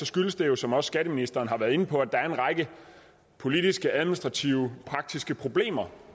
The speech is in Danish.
skyldes det jo som også skatteministeren har været inde på at der er en række politiske administrative og praktiske problemer